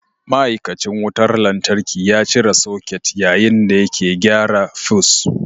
Ma'aikacin wutar lantarki ya cire soket yayin da yake gyara fus.